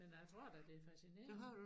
Men jeg tror da det fascinerende